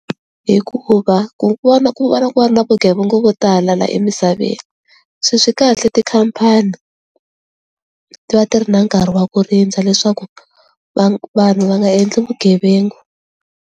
Hikuva kun'wana na kuun'wana ku va na vugevenga vo tala la emisaveni se swi kahle tikhampani ti va ti ri na nkarhi wa ku rindza leswaku va vanhu va nga endli vugevenga.